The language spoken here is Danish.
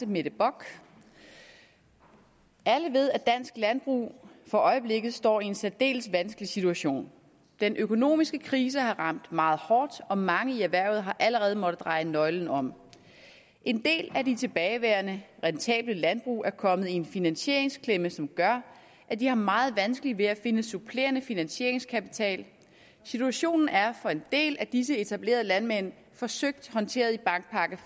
mette bock alle ved at dansk landbrug for øjeblikket står i en særdeles vanskelig situation den økonomiske krise har ramt meget hårdt og mange i erhvervet har allerede måttet dreje nøglen om en del af de tilbageværende rentable landbrug er kommet i en finansieringsklemme som gør at de har meget vanskeligt ved at finde supplerende finansieringskapital situationen er for en del af disse etablerede landmænd forsøgt håndteret i bankpakke